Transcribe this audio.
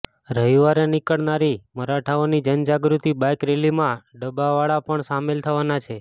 રવિવારે નીકળનારી મરાઠાઓની જનજાગૃતિ બાઇક રેલીમાં ડબાવાળા પણ સામેલ થવાના છે